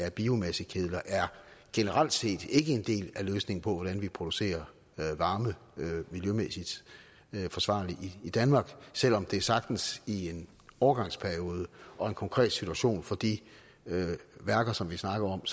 af biomassekedler er generelt set ikke en del af løsningen på hvordan vi producerer varme miljømæssigt forsvarligt i danmark selv om det sagtens i en overgangsperiode og en konkret situation for de værker som vi snakker om